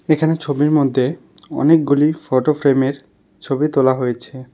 এখানে ছবির মদ্যে অনেকগুলি ফটো ফ্রেমের ছবি তোলা হয়েছে।